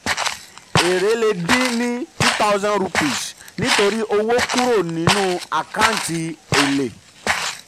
èrè le dín ni two thousand ruppes nítorí owó kúrò nítorí owó kúrò nínú àkántì èlè.